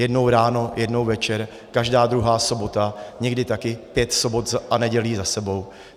Jednou ráno, jednou večer, každá druhá sobota, někdy také pět sobot a nedělí za sebou.